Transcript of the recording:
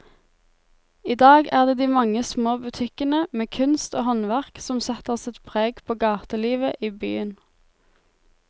I dag er det de mange små butikkene med kunst og håndverk som setter sitt preg på gatelivet i byen.